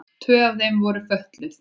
Tvö af þeim voru fötluð.